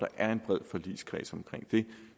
er en bred forligskreds